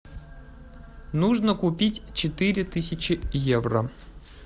нужно купить четыре тысячи евро